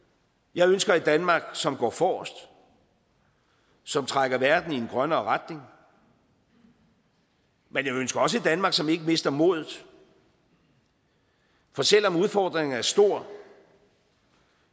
jeg ønsker et danmark som går forrest som trækker verden i en grønnere retning men jeg ønsker også et danmark som ikke mister modet for selv om udfordringen er stor